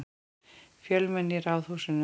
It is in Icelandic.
Fjölmenni í Ráðhúsinu